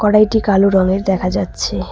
কড়াইটি কালো রঙের দেখা যাচ্ছে।